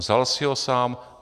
Vzal si ho sám?